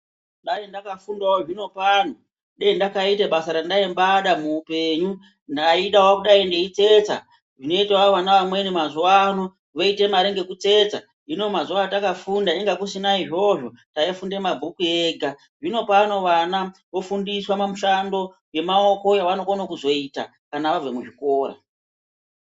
Dai ndakafundawo zvinopano, dei ndakaite basa randaimbada muupenyu. Ndaidawo kudai ndeitsetsa, zvinoitawo vana vamweni mazuvano. Voite mare ngekutsetsa, iniwo mazuva andakafunda inga kusina izvozvo. Taifunde mabhuku ega. Zvinopano vana vofundiswa mamushando yemaoko yavanokono kuzoita kana vabve kuzvikora.